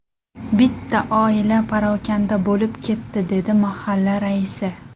Bitta oila parokanda bo‘lib ketdi”, dedi mahalla raisi.